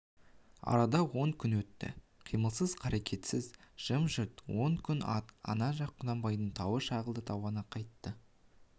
арада он күн өтті қимылсыз қарекетсіз жым-жырт он күн ана жақ құнанбайдың тауы шағылды тауаны қайтты